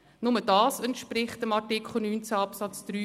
Nur dies entspricht Artikel 19 Absatz 3